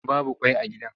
Babu ƙwai a gidan.